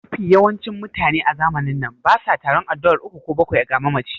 Mafi yawancin mutane a zamanin na basa taron addu'ar uku ko bakwai ga mamaci